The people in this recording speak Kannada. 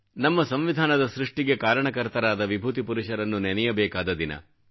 ನಮ್ಮ ಸಂವಿಧಾನದ ಸೃಷ್ಟಿಗೆ ಕಾರಣಕರ್ತರಾದ ವಿಭೂತಿಪುರುಷರನ್ನು ನೆನೆಯಬೇಕಾದ ದಿನ